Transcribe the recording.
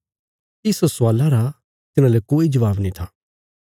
इस स्वाला रा तिन्हाले कोई जबाब नीं था